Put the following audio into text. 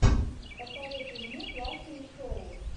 посоветуй мне классные шоу